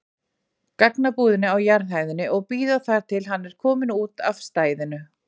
gagnabúðina á jarðhæðinni og bíða þar til hann er kominn út af stæðinu.